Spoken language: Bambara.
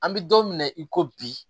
An bɛ don min na i ko bi